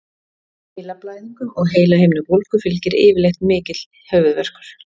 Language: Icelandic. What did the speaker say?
Heilablæðingum og heilahimnubólgu fylgir yfirleitt mikill höfuðverkur.